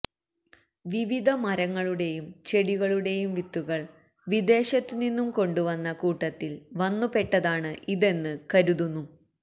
വിവിധ മരങ്ങളുടേയും ചെടികളുടേയും വിത്തുകൾ വിദേശത്തു നിന്നും കൊണ്ടുവന്ന കുട്ടത്തിൽ വന്നു പെട്ടതാണ് ഇതെന്ന് കരുതുന്നു